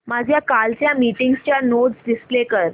माझ्या कालच्या मीटिंगच्या नोट्स डिस्प्ले कर